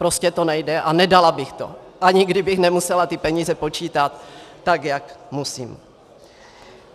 Prostě to nejde a nedala bych to, ani kdybych nemusela ty peníze počítat tak, jak musím.